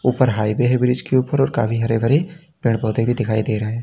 ऊपर हाईवे है ब्रिज के ऊपर और काफी हरे भरे पेड़ पौधे भी दिखाई दे रहा है।